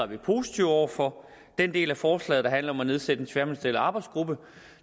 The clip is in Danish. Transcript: vi positive over for den del af forslaget der handler om at nedsætte en tværministeriel arbejdsgruppe